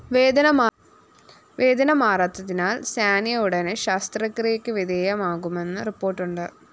വേദന മാറാത്തതിനാല്‍ സാനിയ ഉടനെ ശസ്ത്രക്രിയയ്ക്ക് വിധേയയാകുമെന്ന് റിപ്പോര്‍ട്ടുണ്ട്